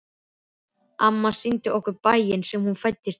Amma sýndi okkur bæinn sem hún fæddist í.